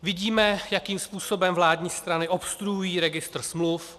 Vidíme, jakým způsobem vládní strany obstruují registr smluv.